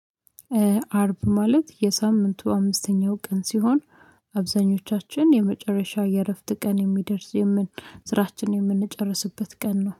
አርብ ማለት የሳምንቱ አምስተኛው ቀን ሲሆን አብዛኞቻችን የመጨረሻ የእረፍት ቀን የሚደርስ የምን ስራችን የምንጨርስበት ቀን ነው